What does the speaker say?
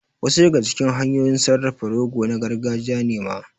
Wasu daga cikin hanyoyin sarrafa rogo na gargajiya ne ma